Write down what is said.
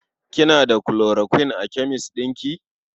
Kina da chloroquine a kemes ɗin ki?